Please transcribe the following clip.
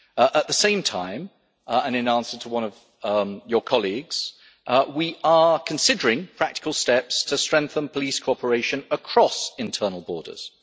At the same time, and in answer to one of your colleagues, we are considering practical steps to strengthen police cooperation across internal borders.